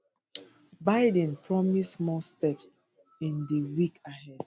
biden promise more steps in di weeks ahead